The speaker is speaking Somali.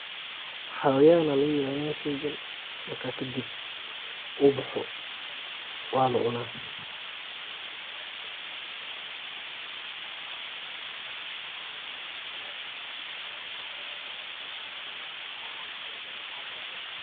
Xawan aya laga ilaliini sheygan marka kadib u baaxo wa la cuuna.